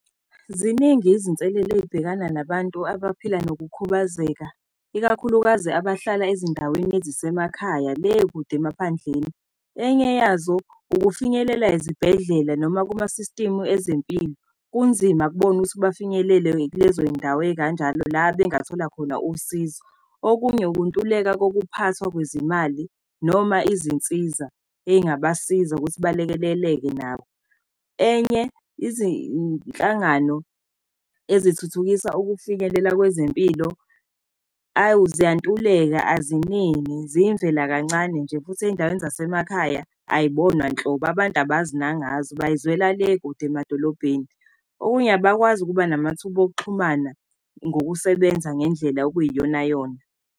Ziningi izinselelo ey'bhekana nabantu abaphila nokukhubazeka, ikakhulukazi abahlala ezindaweni ezisemakhaya, le kude emaphandleni. Enye yazo ukufinyelela ezibhedlela noma kumasistimu ezempilo. Kunzima kubona ukuthi bafinyelele-ke kulezoy'ndawo ey'kanjalo, la bengathola khona usizo. Okunye ukuntuleka kokuphathwa kwezimali, noma izinsiza ey'ngabasiza ukuthi balekelele-ke nabo. Enye izinhlangano ezithuthukisa ukufinyelela kwezempilo, awu! Ziyantuleka aziningi, ziyimvelakancane nje, futhi ey'ndaweni zasemakhaya ayibonwa nhlobo, abantu abazi nangazi bayizwela le kude emadolobheni. Okunye abakwazi ukuba namathuba okuxhumana ngokusebenza ngendlela okuyiyonayona.